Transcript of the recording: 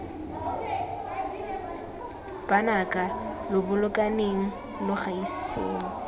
banaka lo bolokaneng lo gaiseng